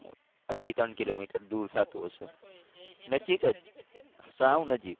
અઢી ત્રણ કિલોમીટર દૂર થતું હશે. નજીક જ સાવ નજીક.